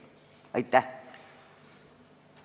Aitäh!